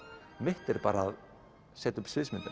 mitt er bara að setja upp sviðsmyndina